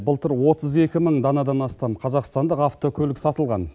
былтыр отыз екі мың данадан астам қазақстандық автокөлік сатылған